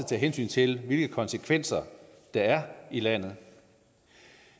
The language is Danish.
tage hensyn til hvilke konsekvenser der er i landet